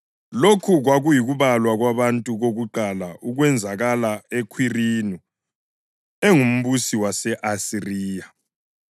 (Lokhu kwakuyikubalwa kwabantu kokuqala okwenzakala uKhwirinu engumbusi wase-Asiriya.)